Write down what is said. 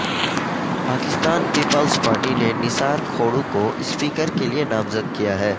Pakistan Peoples Party نے نثار کھوڑو کو speaker کے لیے نامزد کیا ہے